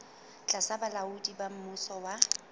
tlasa bolaodi ba mmuso wa